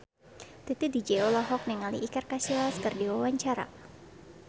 Titi DJ olohok ningali Iker Casillas keur diwawancara